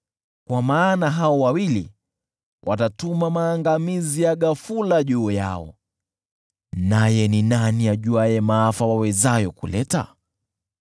kwa maana hao wawili watatuma maangamizi ya ghafula juu yao, naye ni nani ajuaye maafa wawezayo kuleta?